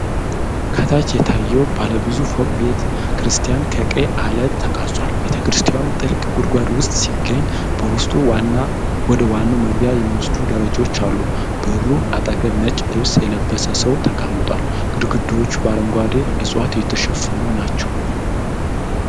ከታች የታየው ባለብዙ ፎቅ ቤተ-ክርስቲያን ከቀይ ዐለት ተቀርጿል። ቤተ-ክርስቲያኑ ጥልቅ ጉድጓድ ውስጥ ሲገኝ፣ በውስጡ ወደ ዋናው መግቢያ የሚወስዱ ደረጃዎች አሉ። በሩ አጠገብ ነጭ ልብስ የለበሰ ሰው ተቀምጧል። ግድግዳዎቹ በአረንጓዴ ዕፅዋት የተሸፈኑ ናቸው።